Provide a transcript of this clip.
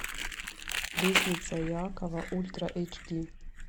лестница иакова ультра эйч ди